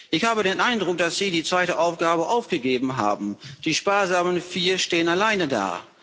Ich habe den Eindruck, dass Sie die zweite Aufgabe aufgegeben haben, die sparsamen Vier stehen alleine da.